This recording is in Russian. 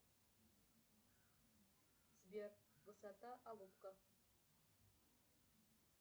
сбер высота алупка